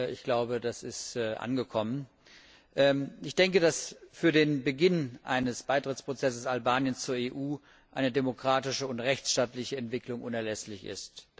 Ich glaube, das ist angekommen. Ich denke, dass für den Beginn eines Beitrittsprozesses Albaniens zur EU eine demokratische und rechtsstaatliche Entwicklung unerlässlich ist.